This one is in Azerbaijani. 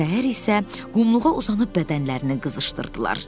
Səhər isə qumluğa uzanıb bədənlərini qızışdırdılar.